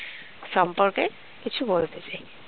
সম্পর্কে কিছু বলতে চাই